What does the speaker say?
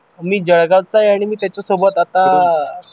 मी जळगावचा आहे आणि मी त्याच्यासोबत आता